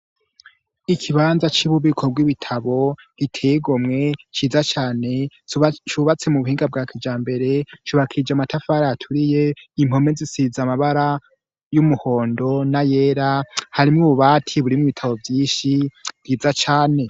Ikibanza c'u bubiko bw'ibitabo gitego mwe ciza cane cubatse mu buhinga bwa kija mbere cubakije amatafara aturiye impome zisiza amabara y'umuhondo na yera harimo ububati burimwe ibitabo vyinshi bwiza cane.